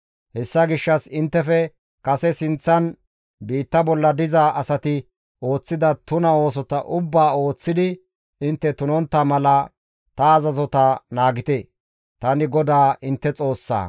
Hessa gishshas inttefe kase sinththan biitta bolla diza asati ooththida tuna oosota ubbaa ooththidi intte tunontta mala ta azazota naagite; tani GODAA intte Xoossaa.»